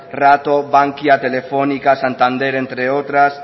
rato bankia telefónica santander entre otras